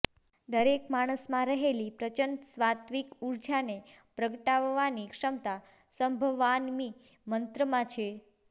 દરેક માણસમાં રહેલી પ્રચંડ સાત્ત્વિક ઊર્જાને પ્રગટાવવાની ક્ષમતા સંભવામિ મંત્રમાં છે